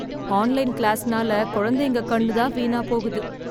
online கிளாஸ்னால குழந்தைங்க கண்ணு தான் வீணா போகுது